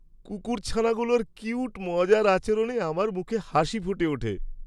কুকুরছানাগুলোর cute মজার আচরণে আমার মুখে হাসি ফুটে ওঠে।